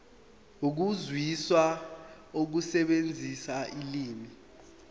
ukuzwisisa nokusebenzisa ulimi